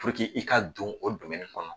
i ka don o kɔnɔ